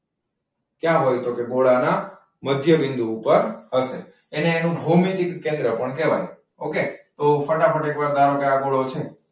ક્યાં હોય તો કે ગોળાના મધ્ય બિંદુ ઉપર હશે. અને એનું ભૌમિતિક કેન્દ્ર પણ કહેવાય. okay?